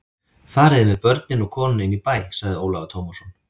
Fariði með börnin og konuna inn í bæ, sagði Ólafur Tómasson.